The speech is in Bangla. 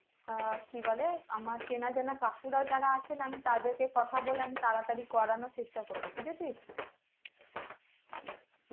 আঃ কি বলে আমার চেনা জানা কাকুরা যারা আছে মানে তাদের কে কথা বলে আমি তারা তাড়ি করানোর চেষ্টা করবো বুঝেছিস